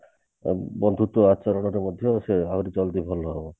ଅ ବନ୍ଧୁତ୍ଵ ଆଚରଣରେ ମଧ୍ୟ ସେ ଆହୁରି ଜଲ୍ଦି ଭଲ ହେବ